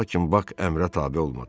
Lakin Bak əmrə tabe olmadı.